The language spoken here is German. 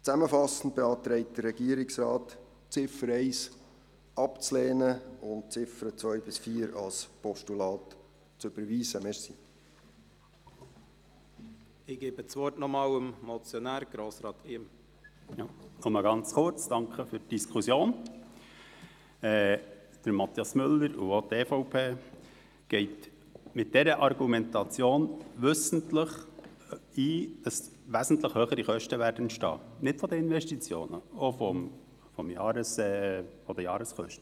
Mathias Müller und auch die EVP nehmen mit ihrer Argumentation wissentlich in Kauf, dass wesentlich höhere Kosten entstehen werden, und zwar nicht nur bei den Investitionen, sondern auch in Bezug auf die Jahreskosten.